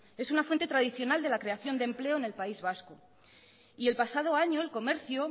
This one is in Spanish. es una fuente tradicional de la creación de empleo en el país vasco el pasado año el comercio